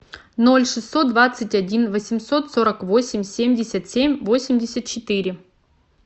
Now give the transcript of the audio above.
ноль шестьсот двадцать один восемьсот сорок восемь семьдесят семь восемьдесят четыре